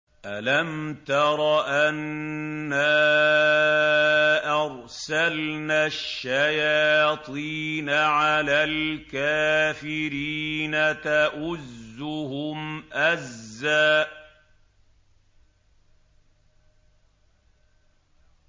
أَلَمْ تَرَ أَنَّا أَرْسَلْنَا الشَّيَاطِينَ عَلَى الْكَافِرِينَ تَؤُزُّهُمْ أَزًّا